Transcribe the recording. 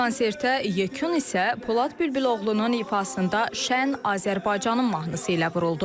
Konsertə yekun isə Polad Bülbüloğlunun ifasında Şən Azərbaycanın mahnısı ilə vuruldu.